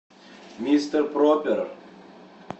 мистер пропер